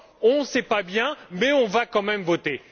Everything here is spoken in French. On ne le sait pas bien mais on va quand même voter.